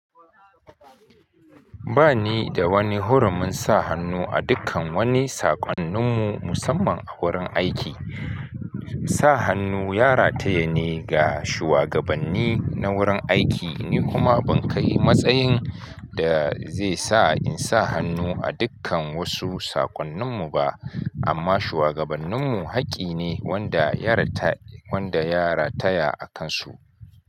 Ba ni da wani hurumin sa hannu a dukkan wani saƙonnin mu musamman a wurin aiki. Sa hannu yarataya ne ga shugabanni na wurin aiki. Ni kuma ban kai matsayin da zai sa in sa hannu a dukkan wasu saƙonnin mu ba. Amma shugabannin mu haƙƙi ne wanda ya rataya a kansu.